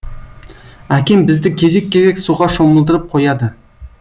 әкем бізді кезек кезек суға шомылдырып қояды